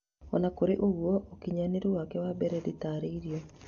ona kurũ ũguo ũkinyanĩru wake wa mbere ndĩtarĩirio